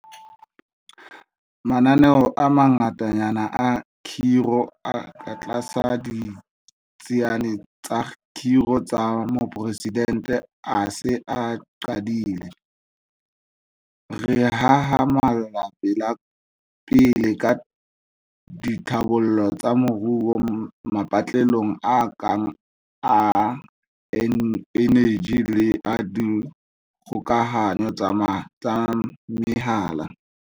Mananeo a mangatanyana a kgiro a katlasa Ditsiane tsa Kgiro tsa Moporesidente a se a qadile. Re hahamalla pele ka ditlhabollo tsa moruo mapatlelong a kang a eneji le a dikgokahanyo tsa mehala.